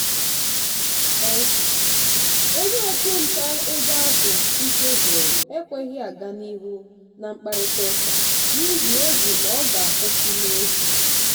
onye ọchụnta ego ahụ ike gwụrụ ekweghị aga n'ihu na mkparịta ụka n'ihi egwu n'ọga akwụsị n'efu.